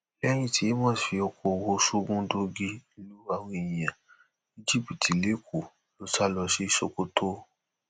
lẹyìn tí amos fi ọkọọwọ sógundóńgí lu àwọn èèyàn ní jìbìtì lẹkọọ ló sá lọ sí sokoto